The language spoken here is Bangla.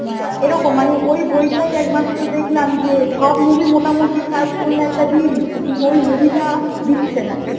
হ্যাঁ এরকম মানে ওই বইটাই একমাত্র দেখলাম যে সব মুভি মোটামুটি search করলে দিয়েদিচ্ছে, কিন্তু ওই movie টা, দিচ্ছে না